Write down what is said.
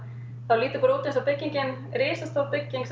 það lítur bara út eins og byggingin risastór bygging